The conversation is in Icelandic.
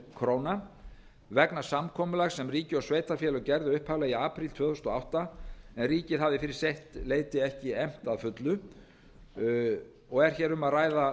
ár vegna samkomulags sem ríki og sveitarfélög gerðu upphaflega í apríl tvö þúsund og átta en ríkið hafði fyrir sitt leyti ekki efnt að fullu og er hér um að ræða